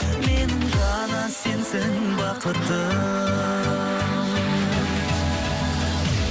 менің ғана сенсің бақытым